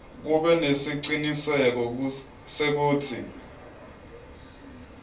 kube nesiciniseko sekutsi